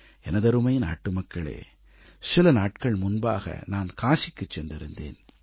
எனதருமை நாட்டுமக்களே சில நாட்கள் முன்பாக நான் காசிக்குச் சென்றிருந்தேன்